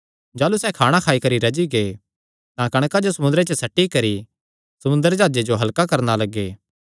जाह़लू सैह़ खाणा खाई करी रज्जी गै तां कणकां जो समुंदरे च सट्टी करी समुंदरी जाह्जे जो हल्का करणा लग्गे